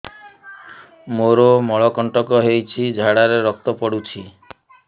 ମୋରୋ ମଳକଣ୍ଟକ ହେଇଚି ଝାଡ଼ାରେ ରକ୍ତ ପଡୁଛି